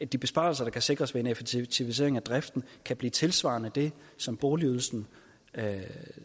de besparelser der kan sikres ved en effektivisering af driften kan blive tilsvarende det som boligydelsen